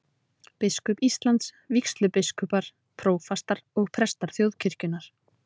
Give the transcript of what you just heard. Biskup Íslands, vígslubiskupar, prófastar og prestar þjóðkirkjunnar.